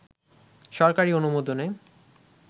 সরকারি অনুমোদনে